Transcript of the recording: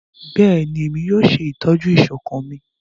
Bẹẹni, Emi yoo ṣetọju iṣọkan mi